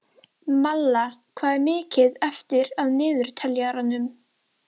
Malla, hvað er mikið eftir af niðurteljaranum?